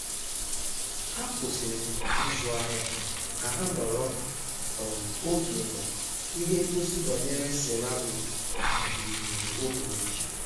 ha kwụsịrị ịzụ ahịa ka ha nọrọ um oge na ihe ngosi banyere ceramik um oge ochie